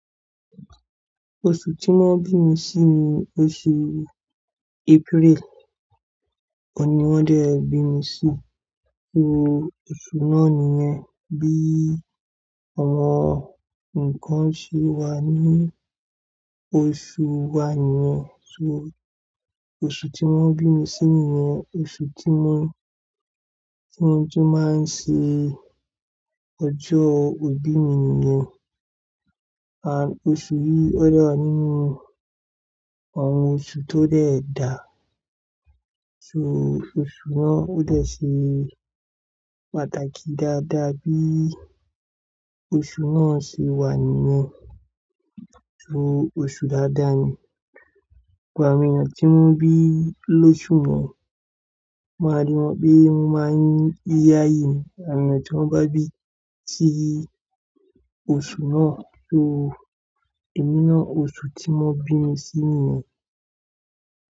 Oṣù tí wón bí mi sí ni oṣù April. Óun ni wón de bí mi sí. So oṣù náà nìyẹn bí ọmọ ńǹkan ṣe wà ní oṣù wa nìyẹn. So oṣù tí wón bí mi sí nìyẹn oṣù tí wón, tí wón tún máa ń ṣe ọjọ́ ìbí mi nìyẹn. Oṣù yìí ó de wa nínú àwọn oṣù tó dẹ̀ dà. So oṣù náà ó dẹ̀ ṣe pàtàkì dáadáa bí oṣù náà ṣe wà nìyẹn. Osu daadaa ni àwọn ènìyàn tí wón bi lósù náà, n máa rí wọn bi wón máa ńi yí yáyìí ni. Àwọn ènìyàn tí wón bá bí sí oṣù náà. So èmi náà oṣù tí wón bí mi sí nìyẹn.